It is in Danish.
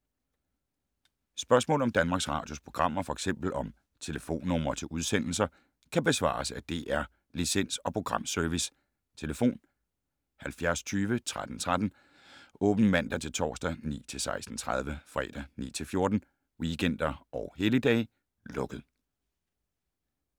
Spørgsmål om Danmarks Radios programmer, f.eks. om telefonnumre til udsendelser, kan besvares af DR Licens- og Programservice: tlf. 70 20 13 13, åbent mandag-torsdag 9.00-16.30, fredag 9.00-14.00, weekender og helligdage: lukket.